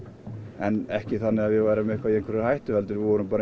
en ekki þannig að við værum í einhverri hættu við vorum